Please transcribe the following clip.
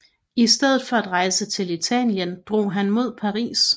I stedet for at rejse til Italien drog han mod Paris